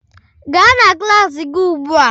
Gaa na klas gị ugbu a